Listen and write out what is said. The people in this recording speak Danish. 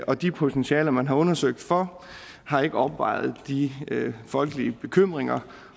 og de potentialer man har undersøgt for har ikke opvejet de folkelige bekymringer